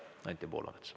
Anti Poolamets.